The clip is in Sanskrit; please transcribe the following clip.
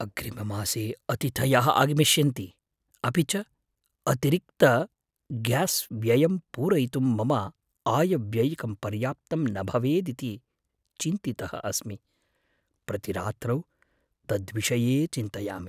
अग्रिममासे अतिथयः आगमिष्यन्ति, अपि च अतिरिक्तग्यास्व्ययं पूरयितुं मम आयव्ययिकं पर्याप्तं न भवेदिति चिन्तितः अस्मि, प्रतिरात्रौ तद्विषये चिन्तयामि।